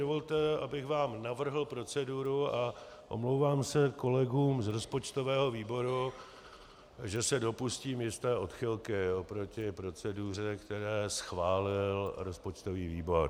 Dovolte, abych vám navrhl proceduru, a omlouvám se kolegům z rozpočtového výboru, že se dopustím jisté odchylky oproti proceduře, kterou schválil rozpočtový výbor.